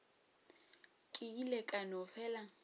ke ile ka no fela